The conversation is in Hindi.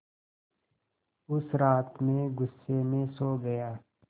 उस रात मैं ग़ुस्से में सो गया